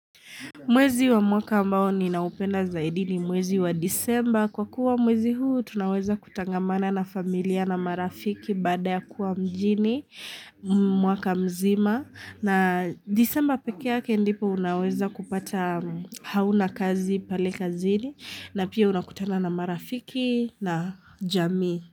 Mwezi wa mwaka ambao ni naupenda zaidi ni mwezi wa disemba. Kwa kuwa mwezi huu, tunaweza kutangamana na familia na marafiki baada ya kuwa mjini, mwaka mzima. Na disemba pekee yake ndipo unaweza kupata hauna kazi pale kazini na pia unakutana na marafiki na jamii.